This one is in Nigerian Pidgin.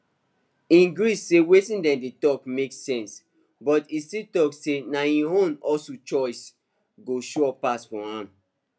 e gree say wetin dem dey talk make sense but e still talk say na im own hustle choice go sure pass for am